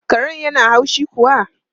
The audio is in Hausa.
Karen yana haushi kuwa?